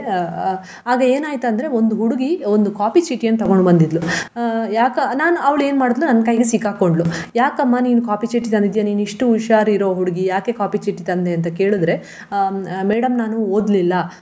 ಅಹ್ ಆಗ ಏನಾಯ್ತಂದ್ರೆ ಒಂದು ಹುಡುಗಿ ಒಂದು copy ಚೀಟಿಯನ್ನು ತೊಗೊಂಡು ಬಂದಿದ್ಲು. ಅಹ್ ಯಕ~ ನಾನ್ ಅವಳು ಏನ್ ಮಾಡಿದ್ಲು ನನ್ ಕೈಗೆ ಸಿಕ್ಕಾಕೊಂಡ್ಳು. ಯಾಕಮ್ಮ ನೀನು copy ಚೀಟಿ ತಂದಿದ್ಯ ನೀನು ಇಷ್ಟು ಹುಷಾರ್ ಇರೋ ಹುಡುಗಿ ಯಾಕೆ copy ಚೀಟಿ ತಂದೇ ಅಂತ ಕೇಳಿದ್ರೆ ಹ್ಮ್ ಅಹ್ madam ನಾನು ಓದ್ಲಿಲ್ಲ.